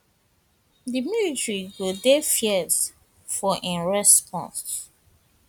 di military go dey fierce fierce for im response